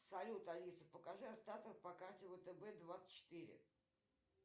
салют алиса покажи остаток по карте втб двадцать четыре